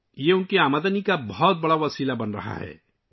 یہ ان کی آمدنی کا بڑا ذریعہ بنتا جا رہا ہے